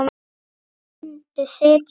Muntu sitja áfram?